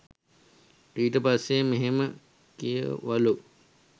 ඊට පස්සෙ මෙහෙම කිව්වලු.